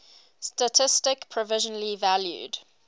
statistik provisionally valued